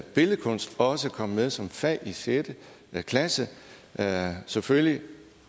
billedkunst også kom med som fag i sjette klasse selvfølgelig